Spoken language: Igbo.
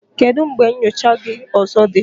Kedu mgbe nyocha gị ọzọ dị?